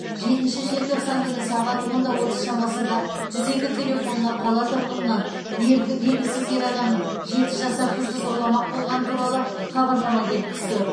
жетінші желтоқсан күні сағат онда отыз шамасында жүз екі телефонына қала тұрғынынан белге белгісіз ер адамның жеті жасар қызды зорламақ болғаны туралы хабарлама келіп түсті